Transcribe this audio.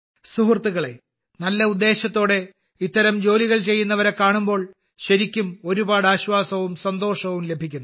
സുഹൃത്തുക്കളേ നല്ല ഉദ്ദേശത്തോടെ ഇത്തരം ജോലി ചെയ്യുന്നവരെ കാണുമ്പോൾ ശരിക്കും ഒരുപാട് ആശ്വാസവും സന്തോഷവും ലഭിക്കുന്നു